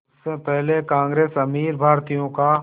उससे पहले कांग्रेस अमीर भारतीयों का